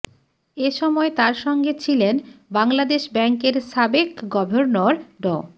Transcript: এ সময় তাঁর সঙ্গে ছিলেন বাংলাদেশ ব্যাংকের সাবেক গভর্নর ড